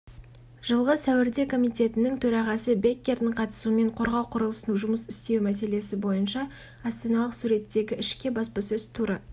жылғы сәуірде комитетінің төрағасы беккердің қатысуымен қорғау құрылысының жұмыс істеуі мәселесі бойынша астаналық суреттегішке баспасөз туры